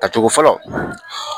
Tacogo fɔlɔ